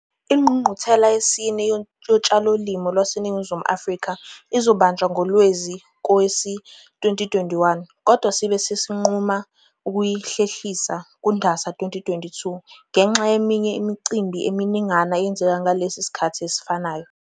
Ingqungquthela yesine Yotshalomali lwaseNingizimu Afrika ibizobanjwa ngoLwezi kowezi2021, kodwa sibe sesinquma ukuyihlehlisela kuNdasa 2022 ngenxa yeminye imicimbi eminingana eyenzeka ngalesi sikhathi esifanayo.